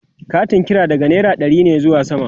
Katin kira daga naira ɗari ne zuwa sama